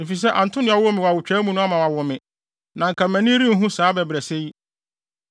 efisɛ anto nea ɔwoo me no awotwaa mu ama wawo me na anka mʼani renhu saa abɛbrɛsɛ yi.